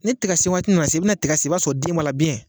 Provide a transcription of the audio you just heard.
Ni tigasenwaati nana se bɛ na tiga sen i b'a sɔrɔ den b'a la